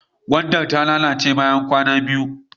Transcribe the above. Gwandar ta lalace bayan kwana biyu.